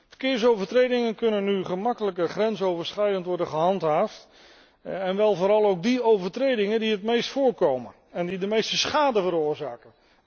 Verkeersovertredingen kunnen nu gemakkelijker grensoverschrijdend worden gehandhaafd, vooral ook die overtredingen die het meest voorkomen en die de meeste schade veroorzaken.